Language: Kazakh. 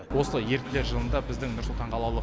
осылай еріктілер жылында біздің нұр сұлтан қалалық